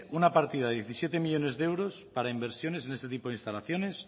una partida de diecisiete millónes de euros para inversiones en este tipo de instalaciones